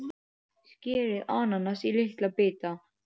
Skerið ananas í litla bita.